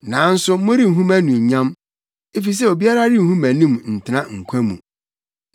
Nanso morenhu mʼanuonyam, efisɛ obiara renhu mʼanim ntena nkwa mu.